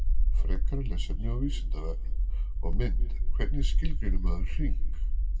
Frekara lesefni á Vísindavefnum og mynd Hvernig skilgreinir maður hring?